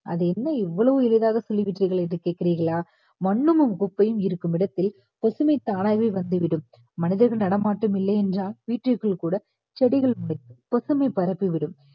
அது என்ன இவ்வளவு எளிதாக சொல்லிவிட்டீர்கள் என்று கேக்குறீர்களா மண்ணும் குப்பையும் இருக்கும் இடத்தில் பசுமை தானாவே வந்துவிடும் மனிதர்கள் நடமாட்டம் இல்லை என்றால் வீட்டிற்குள் கூட செடிகள் முளைக்கும் பசுமை பரப்பி விடும்